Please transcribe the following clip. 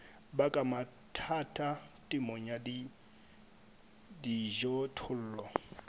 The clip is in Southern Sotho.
baka mathata temong ya dijothollo